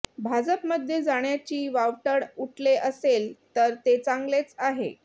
भाजपमध्ये जाण्याची वावटळ उठले असेल तर ते चांगलेच आहे